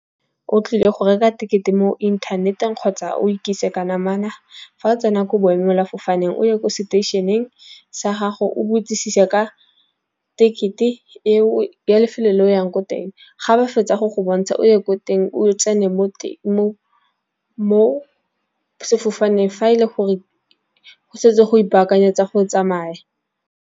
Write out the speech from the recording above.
O tlile go reka ticket-e mo internet-eng kgotsa o ikitsise ka namana. Fa o tsena ko boemela fofaneng, o ye ko seteisheneng sa gago o botsisise ka ticket-e e o ya lefelo le o yang ko teng. Ga ba fetsa go go bontsha o ye ko teng, o tsene mo teng mo sefofaneng, fa e le gore go setse go ipakanyetswa go tsamaya.